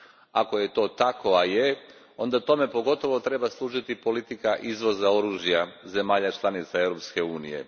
Ako je to tako, a jest, onda tomu pogotovo treba služiti politika izvoza oružja zemalja članica Europske unije.